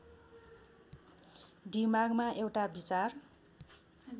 दिमागमा एउटा विचार